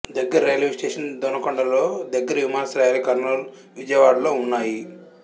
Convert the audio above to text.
దగ్గరి రైల్వేస్టేషన్ దొనకొండ లో దగ్గరి విమానాశ్రయాలు కర్నూలు విజయవాడ లో వున్నాయి